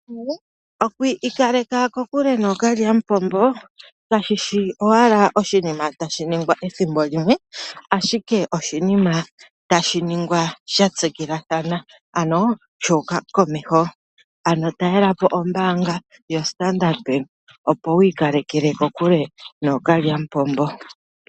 Oku ikaleka kokulye nookalyamupombo kashi shi owala oshinima tashi ningwa ethimbo limwe, ashike oshinima tashi ningwa sha tsikilathana. Ano sha uka komeho, ano talelapo ombaanga yo Standard Bank opo wu ikaleke kokule nookalyamupombo.